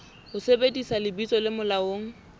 ho sebedisa lebitso le molaong